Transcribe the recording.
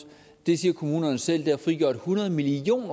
det siger kommunerne selv har frigjort hundrede million